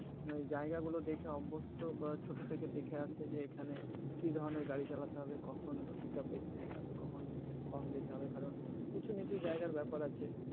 জায়গা গুলো দেখে অভ্যস্ত বা ছোট থেকে দেখে আসছে যে এখানে কি ধরণের গাড়ি চালাতে হবে কখন pickup বেশি দিতে হবে কখন কম দিতে হবে কারণ উঁচু নিচু জায়গার ব্যাপার আছে